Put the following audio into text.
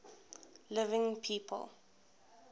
living people